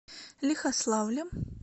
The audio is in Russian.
лихославлем